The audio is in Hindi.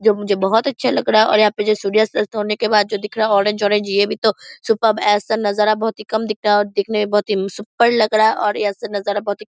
जो मुझे बहुत अच्छा लग रहा है और यहाँ पर जो सूर्यास्त अस्त होने के बाद जो दिख रहा ऑरेंज ऑरेंज ये भी तो सुपर्ब ऐसा नजारा बहुत ही कम दिखता है और दिखने में बहुत ही सुपर लग रहा है और ऐसा नजारा बहुत ही --